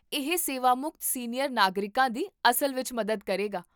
ਇਹ ਸੇਵਾਮੁਕਤ ਸੀਨੀਅਰ ਨਾਗਰਿਕਾਂ ਦੀ ਅਸਲ ਵਿੱਚ ਮਦਦ ਕਰੇਗਾ